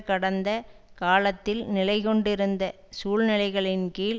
கடந்த காலத்தில் நிலை கொண்டிருந்த சூழ்நிலைகளின் கீழ்